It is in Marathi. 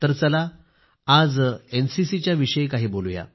तर चला आज एनसीसीच्या विषयी काही बोलू या